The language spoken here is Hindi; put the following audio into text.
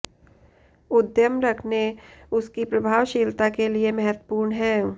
उद्यम रखने उसकी प्रभावशीलता के लिए महत्वपूर्ण है